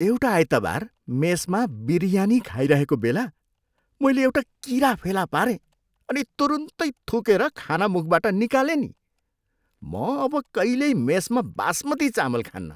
एउटा आइतबार मेसमा बिरयानी खाइरहेको बेला मैले एउटा किरा फेला पारेँ अनि तुरुन्तै थुकेर खाना मुखबाट निकालेँ नि। म अब कहिल्यै मेसमा बासमती चामल खान्नँ।